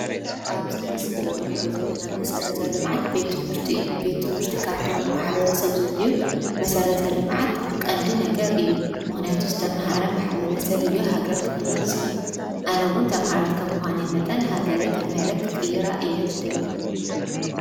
ኣብዚ ምስሊ ንሪኦ ዘለና መሰረተ ልምዓት ቤት ትምህርቲ እዩ ቤት ትምህርቲ ካብቶም ማሕበረሰብ ዘድልዩ መስረተ ልምዓት ቀንዲ ነገር እዩ ምክንያቱ ዝተምሃረ ማሕበረሰብ እዩ ሃገር ክቅይር ዝኽእል ኣነ እዉን ተምሃሪት ካብ ምዃነይ መጠን ሃገረይ ተማሂረ ክቅይራ እየ ዝደሊ ።